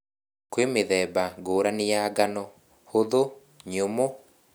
Kwĩmĩthemba ngũrani ya ngano, hũthũ , nyũmũ